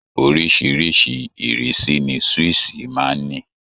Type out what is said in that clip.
Oríṣìíríṣìí ìrísí ni swíìṣì máa ń ní